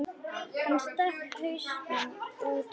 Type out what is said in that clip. Hann stakk hausnum út aftur.